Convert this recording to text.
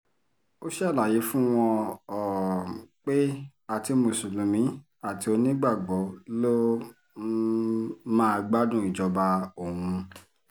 ó ṣàlàyé fún wọn um pé àti mùsùlùmí àti onígbàgbọ́ ló um má gbádùn ìjọba òun